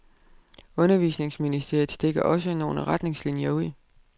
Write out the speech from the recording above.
Undervisningsministeriet stikker også nogle retningslinjer ud.